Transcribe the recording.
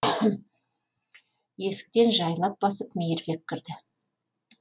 есіктен жайлап басып мейірбек кірді